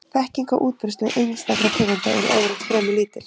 Þekking á útbreiðslu einstakra tegunda er yfirleitt fremur lítil.